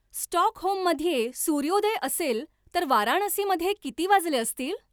स्टॉकहोममध्ये सूर्योदय असेल तर वाराणसीमध्ये किती वाजले असतील?